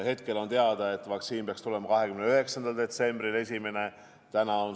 Hetkel on teada, et esimene vaktsiin peaks tulema 29. detsembril.